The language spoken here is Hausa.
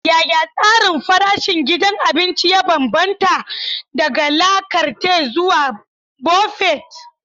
Yaya tsarin farashin gidan abinci ya bambanta, daga la carte zuwa buffet?